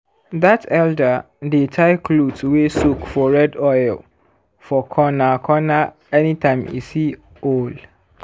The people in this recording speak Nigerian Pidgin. that elder dey tie cloth wey soak for red oil for corner-corner anytime e see owl.